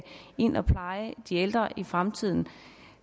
ind at pleje de ældre i fremtiden